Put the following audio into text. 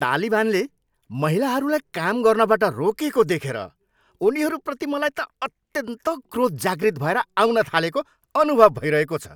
तालिबानले महिलाहरूलाई काम गर्नबाट रोकेको देखेर उनीहरूप्रति मलाई त अत्यन्त क्रोध जागृत भएर आउन थालेको अनुभव भइरहेको छ।